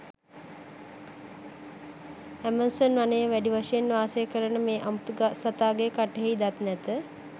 Amazon වනයේ වැඩි වශයෙන්ට වාසය කරන මේ අමුතු සතාගේ කටෙහි දත් නැත.